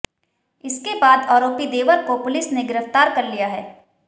इसके बाद आरोपी देवर को पुलिस ने गिरफ्तार कर लिया है